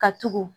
Ka tugu